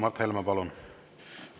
Mart Helme, palun!